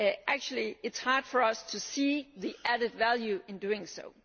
Actually, it is hard for us to see the added value in doing so.